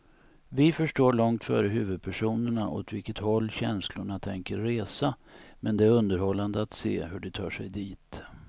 Vi förstår långt före huvudpersonerna åt vilket håll känslorna tänker resa, men det är underhållande att se hur de tar sig dit.